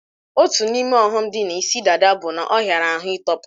Otu n'ime ọghọm dị na isi dada bụ na ọ hiara ahụ ị tọpu